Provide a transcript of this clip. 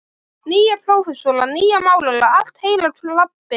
Nýja prófessora, nýja málara, allt heila klabbið.